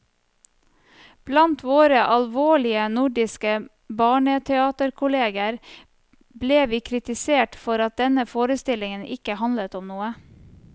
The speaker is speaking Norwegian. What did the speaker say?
Blant våre alvorlige nordiske barneteaterkolleger ble vi kritisert for at denne forestillingen ikke handlet om noe.